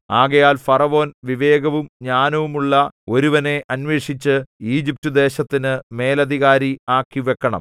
ആകയാൽ ഫറവോൻ വിവേകവും ജ്ഞാനവുമുള്ള ഒരുവനെ അന്വേഷിച്ച് ഈജിപ്റ്റുദേശത്തിനു മേലധികാരി ആക്കി വെക്കണം